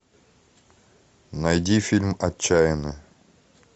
найди фильм отчаянный